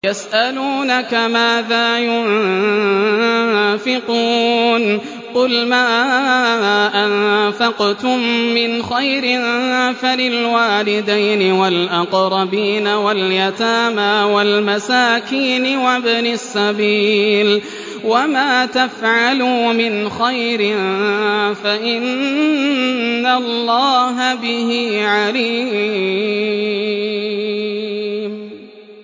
يَسْأَلُونَكَ مَاذَا يُنفِقُونَ ۖ قُلْ مَا أَنفَقْتُم مِّنْ خَيْرٍ فَلِلْوَالِدَيْنِ وَالْأَقْرَبِينَ وَالْيَتَامَىٰ وَالْمَسَاكِينِ وَابْنِ السَّبِيلِ ۗ وَمَا تَفْعَلُوا مِنْ خَيْرٍ فَإِنَّ اللَّهَ بِهِ عَلِيمٌ